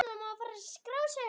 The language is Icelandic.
Af hverju, segir Sigga.